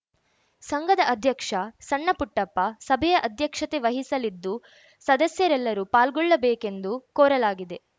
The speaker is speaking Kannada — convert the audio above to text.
ಸಂಘದ ಅಧ್ಯಕ್ಷ ಸಣ್ಣಪುಟ್ಟಪ್ಪ ಸಭೆಯ ಅಧ್ಯಕ್ಷತೆ ವಹಿಸಲಿದ್ದು ಸದಸ್ಯರೆಲ್ಲರೂ ಪಾಲ್ಗೊಳ್ಳಬೇಕೆಂದು ಕೋರಲಾಗಿದೆ